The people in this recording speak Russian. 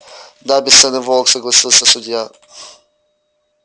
да бесценный волк согласился судья